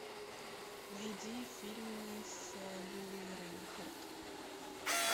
найди фильмы с лили рейнхарт